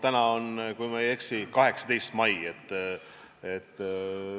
Täna on, kui ma ei eksi, 18. mai.